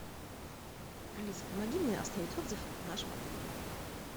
алиса помоги мне оставить отзыв о нашем отеле